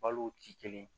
Balo ti kelen ye